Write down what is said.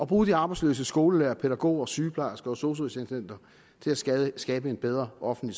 bruge de arbejdsløse skolelærere pædagoger sygeplejersker og sosu assistenter til at skabe skabe en bedre offentlig